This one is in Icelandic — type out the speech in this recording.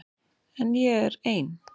En ég er ein.